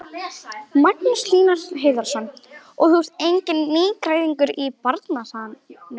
Magnús Hlynur Hreiðarsson: Og þú ert enginn nýgræðingur í bransanum?